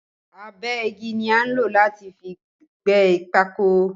Agbẹ́gi ni a nlo láti fi gbé pákó